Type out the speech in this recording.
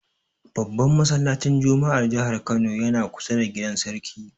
Babban masallacin juma'ar jihar Kano yana kusa da gidan Sarki.